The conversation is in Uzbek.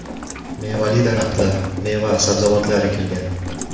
Mevali daraxtlar, meva-sabzavotlar ekilgan.